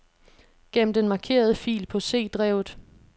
Gem den markerede fil på C-drevet.